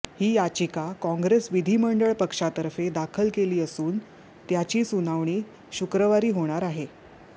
ही याचिका काँग्रेस विधिमंडळ पक्षातर्फे दाखल केली असून त्याची सुनावणी शुक्रवारी होणार आहे